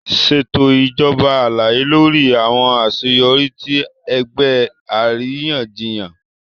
Ṣeto ijabọ alaye lori awọn aṣeyọri ti ẹgbẹ ariyanjiyan.